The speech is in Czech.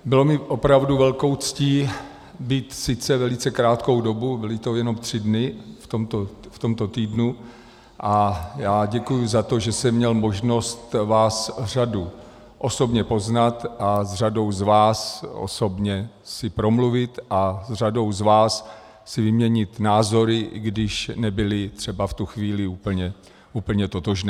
Bylo mi opravdu velkou ctí být sice velice krátkou dobu, byly to jenom tři dny v tomto týdnu, a já děkuji za to, že jsem měl možnost vás řadu osobně poznat a s řadou z vás osobně si promluvit a s řadou z vás si vyměnit názory, i když nebyly třeba v tu chvíli úplně totožné.